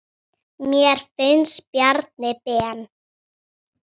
Þetta er fyndið.